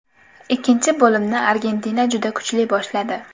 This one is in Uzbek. Ikkinchi bo‘limni Argentina juda kuchli boshladi.